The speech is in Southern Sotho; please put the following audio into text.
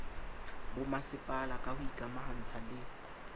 bomasepala ka ho ikamahantsha le